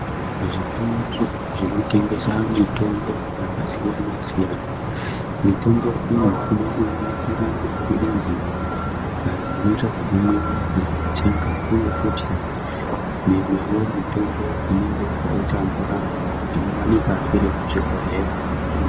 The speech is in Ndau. Zvitoro zvinotengesa mitombo yakasiyana-siyana., mitombo iyi inosanganisira maphirizi ,ayo anoitazvekumwiwa kana kutsenga, iuye futi mimwewo mitombo inenge yakaita mvura -mvura inowanika iri muzvibhodhleya.